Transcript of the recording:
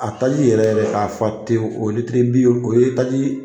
A taji yɛrɛ yɛrɛ k'a fa tewu o ye litiri bi o ye taji